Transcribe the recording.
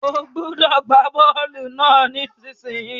O gbúdọ̀ gbá bọ́lù náà nísinsìn yìí